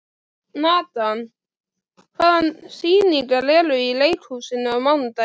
Natan, hvaða sýningar eru í leikhúsinu á mánudaginn?